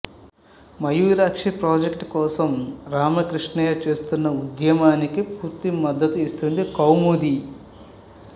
Mayurakshi project కోసం రామకృష్ణయ్య చేస్తున్న ఉద్యమానికి పూర్తి మద్దతు ఇస్తుంది కౌముది